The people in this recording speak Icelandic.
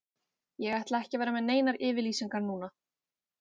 Ég ætla ekki að vera með neinar yfirlýsingar núna.